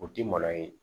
O tɛ malo ye